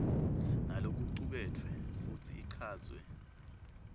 nalokucuketfwe futsi ichazwe